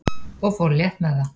og fór létt með það.